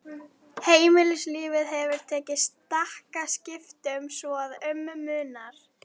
Heldurðu að hann hafi ekki gefið mér þessa silkisokka!